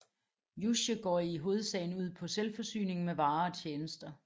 Juche går i hovedsagen ud på selvforsyning med varer og tjenester